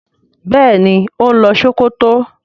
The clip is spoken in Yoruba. béèni o ń lo Sokoto.